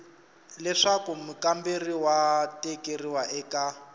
leswaku mukamberiwa wa tikeriwa eka